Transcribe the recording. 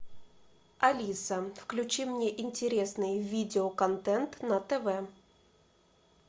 алиса включи мне интересный видеоконтент на тв